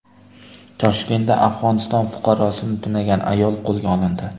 Toshkentda Afg‘oniston fuqarosini tunagan ayol qo‘lga olindi.